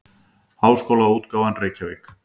Háskólaútgáfan Reykjavík.